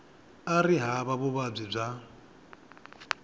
a ri hava vuvabyi bya